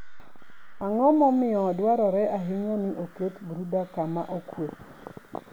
Ang'o momiyo dwarore ahinya ni oket brooder kama okuwe?